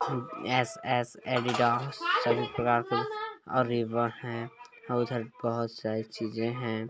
बहुत सारी चीजे है